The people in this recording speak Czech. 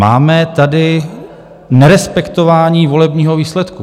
Máme tady nerespektování volebního výsledku.